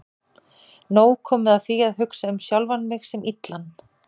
Nóg komið af því að hugsa um sjálfan mig sem illan.